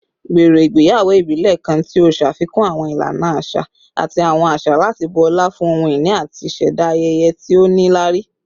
Gbero igbeyawo ibile kan ti o ṣafikun awọn ilana aṣa ati awọn aṣa lati bu ọla fun ohun-ini ati ṣẹda ayẹyẹ ti o nilari